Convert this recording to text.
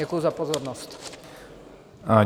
Děkuji za pozornost.